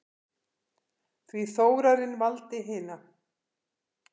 Því Þórarinn valdi hina.